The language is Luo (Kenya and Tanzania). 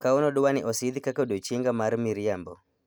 Kawuono dwani osidhi kaka odiechienga mar miriambo